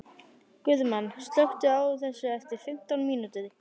Guðmann, slökktu á þessu eftir fimmtán mínútur.